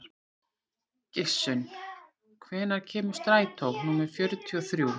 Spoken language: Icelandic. Gissunn, hvenær kemur strætó númer fjörutíu og þrjú?